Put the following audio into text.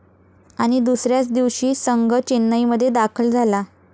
आणि दुसऱ्याच दिवशी संघ चेन्नईमध्ये दाखल झाला.